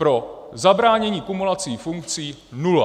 Pro zabránění kumulací funkcí nula.